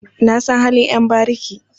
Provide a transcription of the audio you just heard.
Na san halin ƴan bariki.